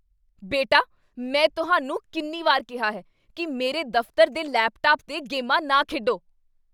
ਬੇਟਾ, ਮੈਂ ਤੁਹਾਨੂੰ ਕਿੰਨੀ ਵਾਰ ਕਿਹਾ ਹੈ ਕੀ ਮੇਰੇ ਦਫ਼ਤਰ ਦੇ ਲੈਪਟਾਪ 'ਤੇ ਗੇਮਾਂ ਨਾ ਖੇਡੋ?